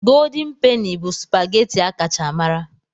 Golden Peni bụ supageti a kacha mara.